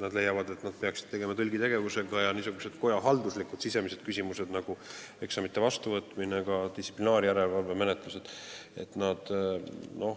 Nad leiavad, et nad peaksid tegelema tõlgitegevusega, ja nad